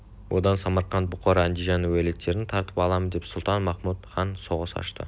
одан самарқант бұқар андижан уәлиеттерін тартып аламын деп сұлтан-махмұт хан соғыс ашты